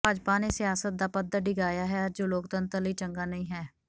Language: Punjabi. ਭਾਜਪਾ ਨੇ ਸਿਆਸਤ ਦਾ ਪੱਧਰ ਡਿਗਾਇਆ ਹੈ ਜੋ ਲੋਕਤੰਤਰ ਲਈ ਚੰਗਾ ਨਹੀਂ ਹੈ